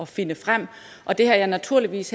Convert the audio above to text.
finde frem og det har jeg naturligvis